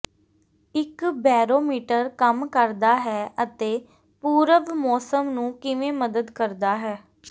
ਇੱਕ ਬੇਰੋਮੀਟਰ ਕੰਮ ਕਰਦਾ ਹੈ ਅਤੇ ਪੂਰਵ ਮੌਸਮ ਨੂੰ ਕਿਵੇਂ ਮਦਦ ਕਰਦਾ ਹੈ